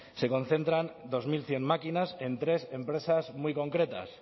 se concentran dos mil cien máquinas en tres empresas muy concretas